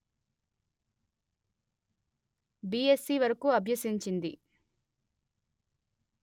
BSc వరకు అభ్యసించింది